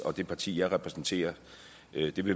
og det parti jeg repræsenterer